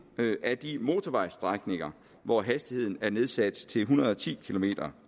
af de motorvejsstrækninger hvor hastigheden er nedsat til en hundrede og ti kilometer